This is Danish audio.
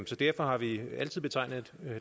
så derfor har vi altid betegnet